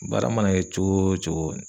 Baara mana kɛ cogo o cogo